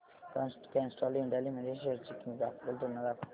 Castrol India limited shares ची graphical तुलना दाखव